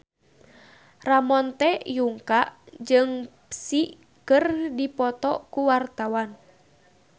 Ramon T. Yungka jeung Psy keur dipoto ku wartawan